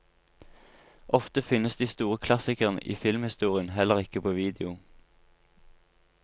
Ofte finnes de store klassikerne i filmhistorien heller ikke på video.